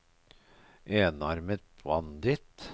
enarmet banditt